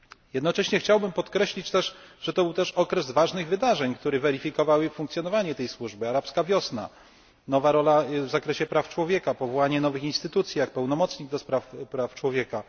Jednocześnie chciałbym także podkreślić, że to był także okres ważnych wydarzeń, które weryfikowały funkcjonowanie tej służby, tzn. arabska wiosna, nowa rola w zakresie praw człowieka, powołanie nowych instytucji takich jak pełnomocnik do spraw praw człowieka.